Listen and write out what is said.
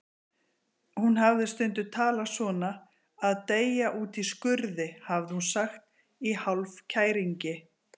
Hún hafði stundum talað svona: að deyja úti í skurði, hafði hún sagt, í hálfkæringi.